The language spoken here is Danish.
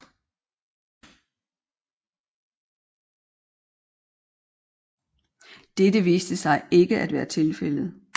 Dette viste sig ikke at være tilfældet